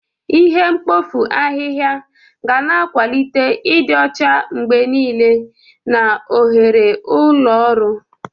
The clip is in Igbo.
Ihe mkpofu ahịhịa ga na-akwalite ịdị ọcha mgbe niile na oghere ụlọ ọrụ.